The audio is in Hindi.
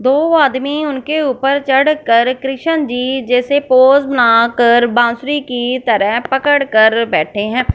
दो आदमी उनके ऊपर चढ़ कर कृष्ण जी जैसे पोज़ ना कर बासुरी की तरह पकड़ कर बैठे है।